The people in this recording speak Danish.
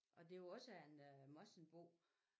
Og det var også en morsingbo